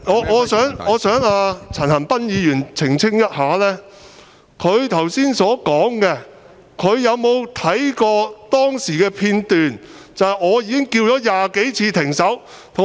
我想陳恒鑌議員澄清一下，就他剛才所說的話，他有否看過當時的片段，留意到我已經喊了20多次"停手"？